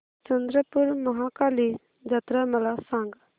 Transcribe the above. चंद्रपूर महाकाली जत्रा मला सांग